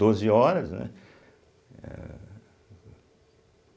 Doze horas, né? Eehh